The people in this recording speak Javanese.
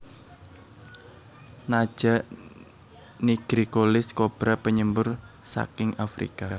Naja nigricollis kobra penyembur saking Afrika